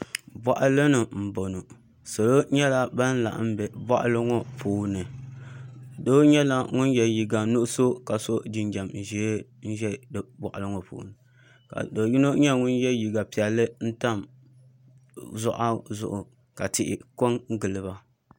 Boɣali ni n boŋo salo nyɛla ban laɣam bɛ boɣali ŋo puuni doo nyɛla ŋun yɛ liiga nuɣso ka so jinjɛm ʒiɛ n boɣali ŋo puuni ka do yino nyɛ ŋun yɛ liiga piɛlli n tam zuɣa zuɣu ka tihi ko n giliba